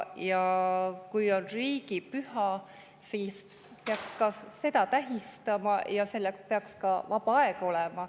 Ja kui on riigipüha, siis peaks ka seda tähistama ning selleks peaks ka vaba aega olema.